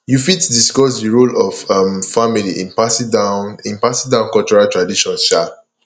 you fit discuss di role of um family in passing down in passing down cultural traditions um